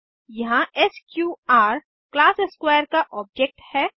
यहाँ SQR class square का object है